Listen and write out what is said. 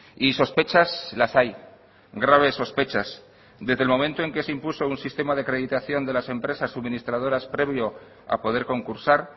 y sospechas las hay graves sospechas desde el momento en que se impuso un sistema de acreditación de las empresas suministradoras previo a poder concursar